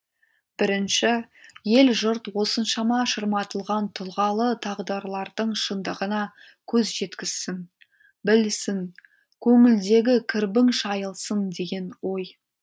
бірінші ел жұрт осыншама шырматылған тұлғалы тағдырлардың шындығына көз жеткізсін білсін көңілдегі кірбің шайылсын деген ой